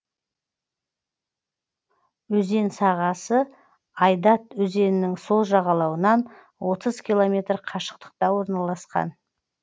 өзен сағасы айдат өзенінің сол жағалауынан отыз километр қашықтықта орналасқан